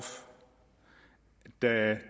da